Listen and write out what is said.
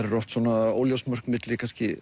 eru oft óljós mörk milli kannski